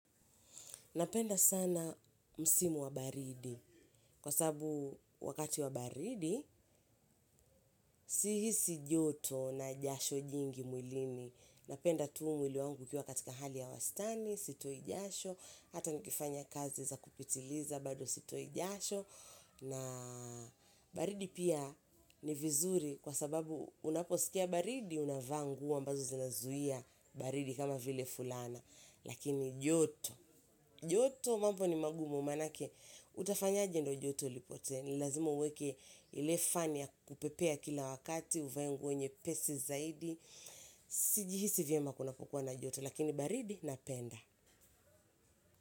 Napenda sana msimu wa baridi. Kwa sababu wakati wa baridi, sihisi joto na jasho jingi mwilini. Napenda tu mwili wangu ukiwa katika hali ya wastani, sitoi jasho. Hata nikifanya kazi za kupitiliza, bado sitoi jasho. Na baridi pia ni vizuri kwa sababu unaposikia baridi, unavaa nguo ambazo zinazuia baridi kama vile fulana. Lakini joto, joto mambo ni magumu manake, utafanyaje ndo joto lipotee. Ni lazima uweke ile fani ya kupepea kila wakati, uvae nguo nyepesi zaidi. Sijihisi vyema kunapokuwa na joto, lakini baridi napenda.